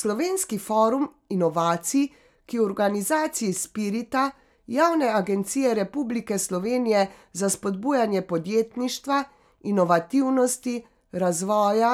Slovenski forum inovacij, ki v organizaciji Spirita, Javne agencije Republike Slovenije za spodbujanje podjetništva, inovativnosti, razvoja,